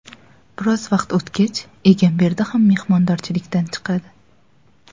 Biroz vaqt o‘tgach, Egamberdi ham mehmondorchilikdan chiqadi.